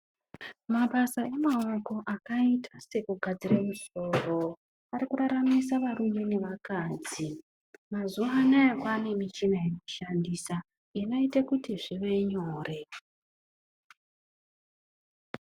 Mabasa emaoko akaita sekugadzira musoro arikuraramisa varume nevakadzi, mazuwa anaya kwaane michina yekushandisa inoita kuti zvive nyore.